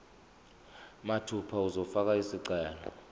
mathupha uzofaka isicelo